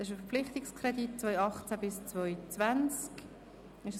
Es handelt sich um einen Verpflichtungskredit für die Jahre 2018–2020.